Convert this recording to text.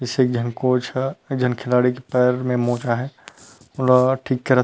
जैसे एक जन कोच ह एक जन खिलाड़ी के पैर में मोच आहे --